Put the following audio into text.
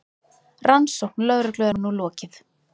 Rannsókn lögreglu er nú lokið.